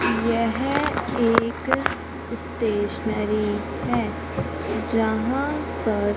यह एक स्टेशनरी है जहां पर--